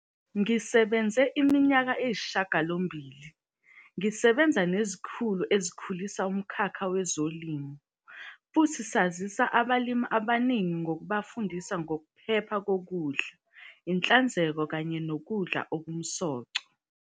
"Ngisebenze iminyaka eyisishiyagalombili, ngisebenza nezikhulu ezikhulisa umkhakha wezolimo, futhi sasiza abalimi abaningi ngokubafundisa ngokuphepha kokudla, inhlanzeko kanye nokudla okunomsoco."